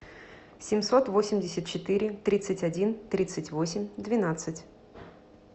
семьсот восемьдесят четыре тридцать один тридцать восемь двенадцать